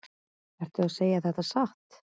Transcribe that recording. Ertu að segja þetta satt?